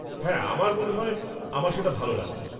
হ্যাঁ, মনে হয় আমার সেটা ভাল লাগবে।